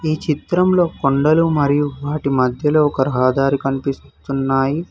ఈ చిత్రంలో కొండలు మరియు వాటి మధ్యలో ఒక రహదారి కనిపిస్తున్నాయి.